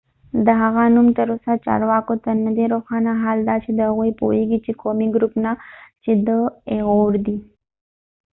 د هغه نوم تر اوسه چارواکو ته نه دي روښانه حال دا چې هغوي پوهیږی چې د ایغور ighuru د قومی ګروپ نه دي